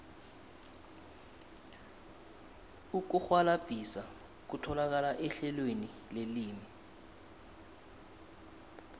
ukurhwalabhisa kutholakala ehlelweni lelimi